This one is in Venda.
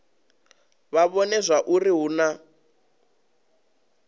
vha vhone zwauri hu na